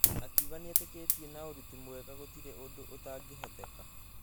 Akĩuga nĩeteketie na ũruti mwega gũtire ũndũ ũtangĩhoteka.